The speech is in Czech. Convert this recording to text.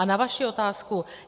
A na vaši otázku.